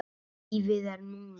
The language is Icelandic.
Lífið er núna!